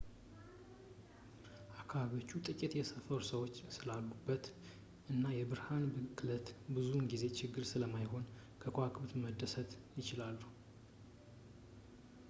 አከባቢዎቹ ጥቂት የሰፈሩ ሰዎች ስላሉበት እና የብርሃን ብክለት ብዙውን ጊዜ ችግር ስለማይሆን በከዋክብትም መደሰት ይችላሉ